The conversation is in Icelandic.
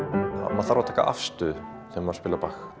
það þarf að taka afstöðu þegar maður spilar